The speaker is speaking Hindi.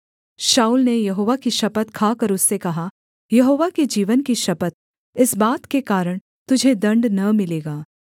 शाऊल ने यहोवा की शपथ खाकर उससे कहा यहोवा के जीवन की शपथ इस बात के कारण तुझे दण्ड न मिलेगा